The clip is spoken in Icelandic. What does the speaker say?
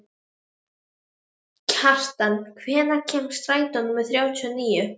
Kjaran, hvenær kemur strætó númer þrjátíu og níu?